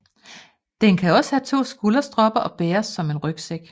Den kan også have to skulderstropper og bæres som en rygsæk